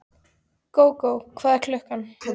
Gógó, hvað er klukkan?